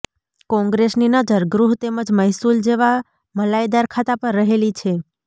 કોંગ્રેસની નજર ગૃહ તેમજ મહેસૂલ જેવા મલાઈદાર ખાતા પર રહેલી છે